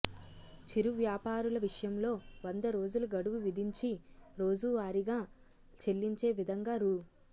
చిరు వ్యాపారుల విషయంలో వందరోజుల గడువు విధించి రోజువారిగా చెల్లించే విధంగా రూ